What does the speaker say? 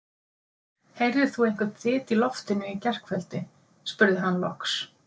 Heyrðir þú einhvern þyt í loftinu í gærkvöldi? spurði hann loks.